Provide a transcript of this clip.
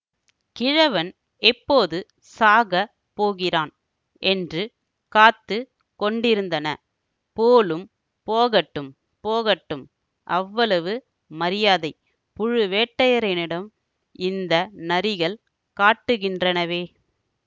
கிழவன் எப்போது சாகப் போகிறான் என்று காத்து கொண்டிருந்தன போலும் போகட்டும் போகட்டும் அவ்வளவு மரியாதை புழுவேட்டரையனிடம் இந்த நரிகள் காட்டுகின்றனவே